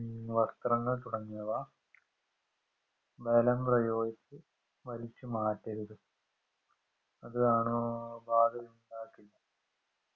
വസ്ത്രങ്ങൾ തുടങ്ങിയവ ബലം പ്രയോഗിച്ചു വലിച്ചുമാറ്റരുത് അത് ആണൂ ബാധ ഇണ്ടാക്കുന്നു